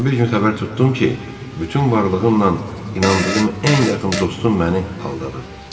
Amma bir gün xəbər tutdum ki, bütün varlığımla inandığım ən yaxın dostum məni aldadıb.